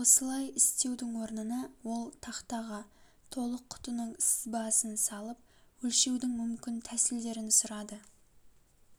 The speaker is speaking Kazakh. осылай істеудің орнына ол тақтаға толық құтының сызбасын салып өлшеудің мүмкін тәсілдерін сұрады